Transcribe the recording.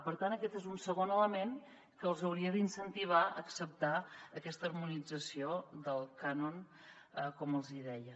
per tant aquest és un segon element que els hauria d’incentivar a acceptar aquesta harmonització del cànon com els deia